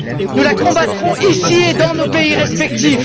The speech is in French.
Nous la combattrons ici et dans nos pays respectifs.